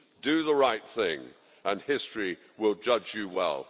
Do the right thing and history will judge you well.